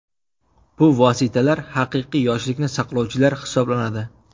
Bu vositalar haqiqiy yoshlikni saqlovchilar hisoblanadi.